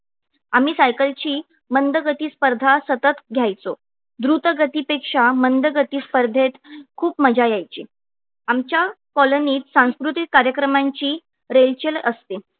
आम्ही cycle ची मंद गती स्पर्धा सतत घ्यायचो द्रुतगती पेक्षा मंद गती स्पर्धेत खूप मजा यायची. आमच्या colony त सांस्कृतिक कार्यक्रमांची रेलचेल असते.